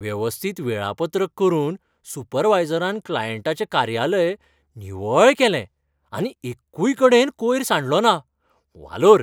वेवस्थीत वेळापत्रक करून सुपरवायजरान क्लायंटाचें कार्यालय निवळ केलें आनी एक्कूय कडेन कोयर सांडलो ना. वालोर!